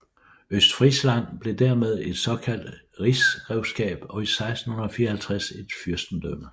Østfrisland blev dermed et såkaldt rigsgrevskab og i 1654 et fyrstendømme